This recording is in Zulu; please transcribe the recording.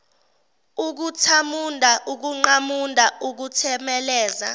ukuthamunda ukuqamunda ukuthemeleza